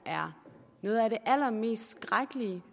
er noget af det allermest skrækkelige